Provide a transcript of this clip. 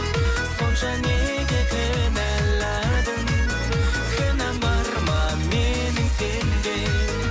сонша неге кінәладың кінәм бар ма менің сенде